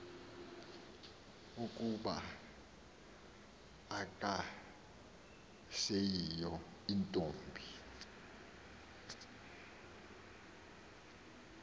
ukuba akaseyiyo ntombi